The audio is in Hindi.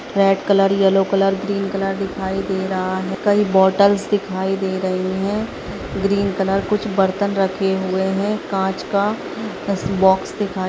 red colour yellow colour green colour दिखाई दे रहा है कई बॉटल्स दिखाई दे रही हैं ग्रीन कलर कुछ बर्तन रखे हुए हैं काँच का बॉक्स दिखाई --